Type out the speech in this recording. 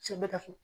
Cɛ bɛɛ ka so